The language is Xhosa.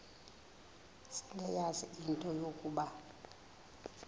seleyazi into yokuba